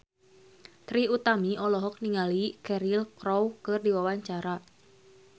Trie Utami olohok ningali Cheryl Crow keur diwawancara